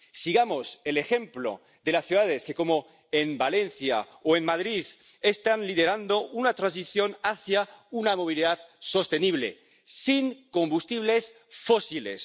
Sigamos el ejemplo de las ciudades que, como Valencia o Madrid, están liderando una transición hacia una movilidad sostenible, sin combustibles fósiles.